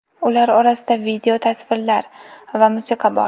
Ular orasida video, tasvirlar va musiqa bor.